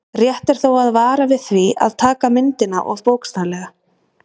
Rétt er þó að vara við því að taka myndina of bókstaflega.